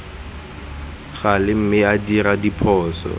gale mme a dira diphoso